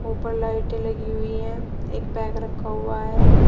ऊपर लाइटे लगी हुई हैं एक बैग रखा हुआ है।